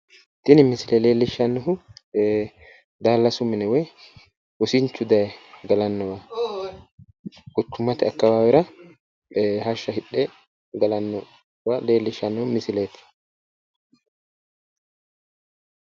Tini misile leellishshannohu daallasu mine woy wosinchu daye galannowa quchumate akkawaawera hashsha hidhe galannowa leellishshanno misileeti.